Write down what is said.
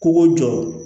Kogo jɔ